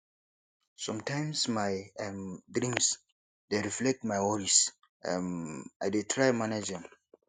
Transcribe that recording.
sometimes my um dreams dey reflect my worries um i dey try manage am